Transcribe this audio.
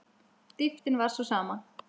Dýptin var sú sama.